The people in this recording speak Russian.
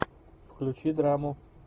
включи драму